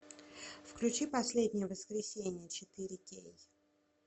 включи последнее воскресенье четыре кей